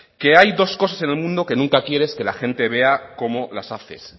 que hay dos cosas en el mundo que nunca quieres que la gente vea cómo las haces